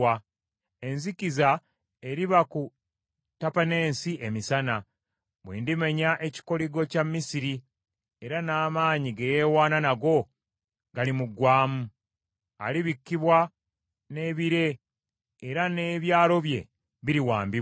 Enzikiza eriba ku Tapaneese emisana, bwe ndimenya ekikoligo kya Misiri, era n’amaanyi ge yeewaana nago galimuggwaamu. Alibikkibwa n’ebire era n’ebyalo bye biriwambibwa.